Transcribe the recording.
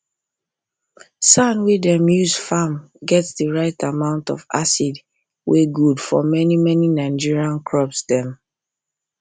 sand wey dem use farm get the right amount of acid wey good for many many nigerian crops dem